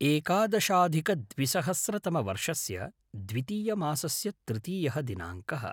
एकादशाधिकद्विसहस्रतमवर्षस्य दितीयमासस्य तृतीयः दिनाङ्कः